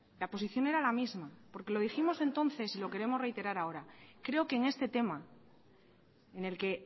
la posición era la misma porque lo dijimos entonces y lo queremos reiterar ahora creo que en este tema en el que